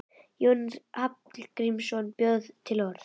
Jónas Hallgrímsson bjó til orð.